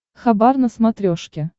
хабар на смотрешке